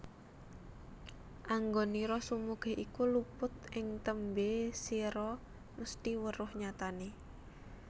Anggonira sumugih iku luput ing tembe sira mesthi weruh nyatane